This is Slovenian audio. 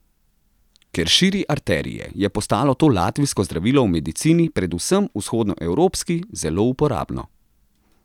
Ker širi arterije, je postalo to latvijsko zdravilo v medicini, predvsem vzhodnoevropski, zelo uporabno ...